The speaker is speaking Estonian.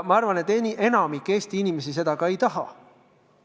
Ma arvan, et enamik Eesti inimesi seda ka ei taha.